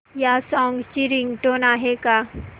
या सॉन्ग ची रिंगटोन आहे का